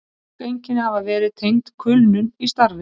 Mörg einkenni hafa verið tengd kulnun í starfi.